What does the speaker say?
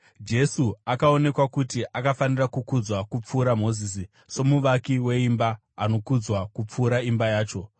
Jesu akaonekwa kuti akafanira kukudzwa kupfuura Mozisi, somuvaki weimba anokudzwa kupfuura imba yacho.